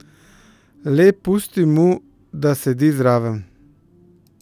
Le pustim mu, da sedi zraven.